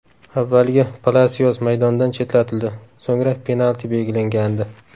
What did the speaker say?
Avvaliga Palasios maydondan chetlatildi, so‘ngra penalti belgilangandi.